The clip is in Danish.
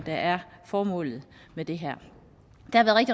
der er formålet med det her der